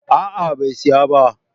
A'a bai saya ba